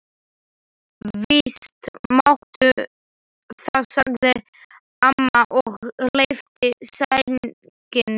Víst máttu það, sagði amma og lyfti sænginni.